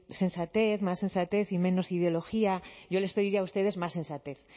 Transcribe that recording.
sensatez más sensatez y menos ideología yo les pediría a ustedes más sensatez